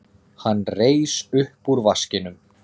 Hann reis upp úr vaskinum.